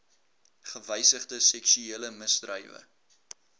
gewysigde seksuele misdrywe